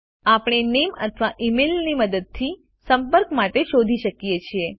આપણે નેમ અથવા ઇમેઇલની મદદથી સંપર્ક માટે શોધી શકો છો